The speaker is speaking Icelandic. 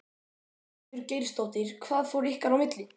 Ingveldur Geirsdóttir: Hvað fór ykkar á milli?